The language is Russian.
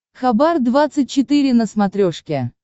хабар двадцать четыре на смотрешке